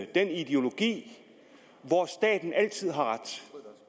den ideologi hvor staten altid har ret